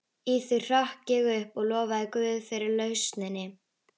Í því hrökk ég upp og lofaði guð fyrir lausnina.